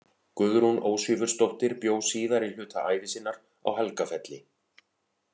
Guðrún Ósvífursdóttir bjó síðari hluta ævi sinnar á Helgafelli.